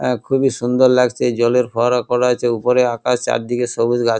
এ খুবই সুন্দর লাগছে জলের ফোয়ারা করা আছে উপরে আকাশ চারদিকে সবুজ গাছ।